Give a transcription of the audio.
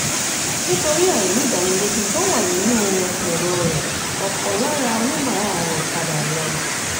nítorí àìdánilójú tó wà nínú ẹ̀rọ rẹ̀ ọ̀pọ̀ lára oníbàárà rẹ̀ padà lọ.